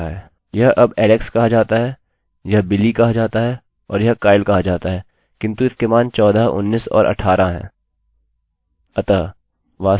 यह अब alex कहा जाता है यह billy कहा जाता है और यह kyle कहा जाता है किन्तु इनके मान चौदह उन्नीस और अट्ठारह हैं